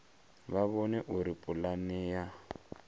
vha vhone uri pulane ya